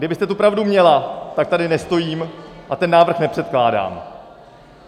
Kdybyste tu pravdu měla, tak tady nestojím a ten návrh nepředkládám.